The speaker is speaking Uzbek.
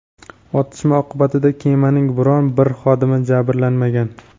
otishma oqibatida kemaning biron bir xodimi jabrlanmagan.